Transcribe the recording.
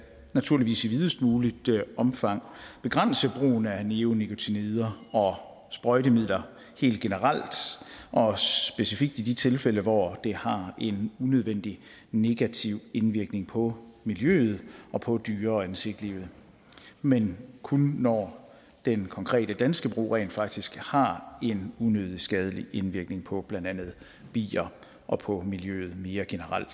naturligvis i videst muligt omfang begrænse brugen af neonikotinoider og sprøjtemidler helt generelt og specifikt i de tilfælde hvor det har en unødvendig negativ indvirkning på miljøet og på dyre og insektlivet men kun når den konkrete danske brug rent faktisk har en unødig skadelig indvirkning på blandt andet bier og på miljøet mere generelt